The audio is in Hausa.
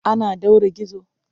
An ɗaure gizo?